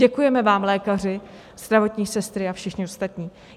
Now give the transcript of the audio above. Děkujeme vám, lékaři, zdravotní sestry a všichni ostatní.